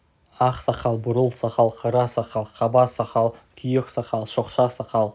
ақ сақал бурыл сақал қара сақал қаба сақал күйек сақал шоқша сақал